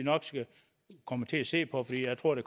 kommer til at se på for jeg tror at